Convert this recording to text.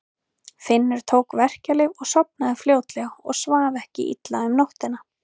Finnur tók verkjalyf og sofnaði fljótlega og svaf ekki illa um nóttina.